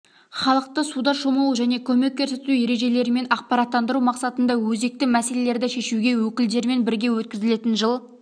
халықты суда шомылу және көмек көрсету ережелерімен ақпараттандыру мақсатында өзекті мәселелерді шешуге өкілдерімен бірге өткізілетін жыл